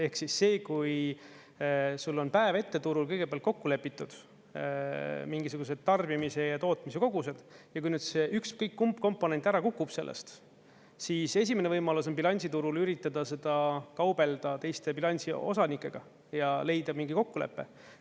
Ehk see, kui sul on päev ette turul kõigepealt kokku lepitud mingisuguseid tarbimise ja tootmise kogused, ja kui nüüd ükskõik kumb komponent ära kukub sellest, siis esimene võimalus on bilansiturul üritada seda kaubelda teiste bilansi osanikega ja leida mingi kokkulepe.